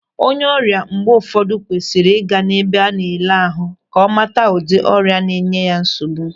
Onye ọrịa mgbe ụfọdụ kwesịrị ị ga n'ebe nleleahu ka ọ mata ụdị ọrịa na-enye ya nsogbu.